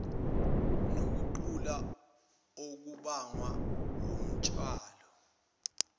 nokugula okubangwa wutshwala